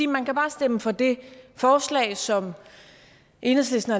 man kan bare stemme for det forslag som enhedslisten